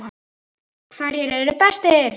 HVERJIR ERU BESTIR?